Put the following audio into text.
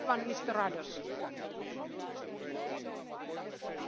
Gospođo predsjednice, gospodine povjereniče, kolegice i kolege.